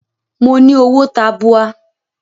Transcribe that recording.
Mo ní owó tabua.